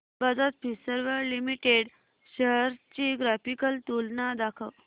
Bajaj Finserv limited shares ची graphical तुलना दाखव